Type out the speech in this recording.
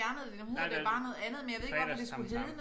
Nej det FredagsTamTam